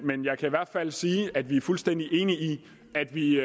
men jeg kan i hvert fald sige at vi er fuldstændig enige i at vi